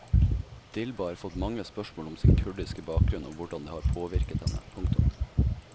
Dilba har fått mange spørsmål om sin kurdiske bakgrunn og hvordan det har påvirket henne. punktum